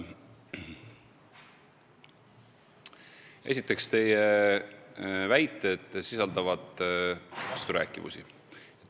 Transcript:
Esiteks, teie väited sisaldavad vasturääkivusi.